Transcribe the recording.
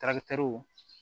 tarakitɛriw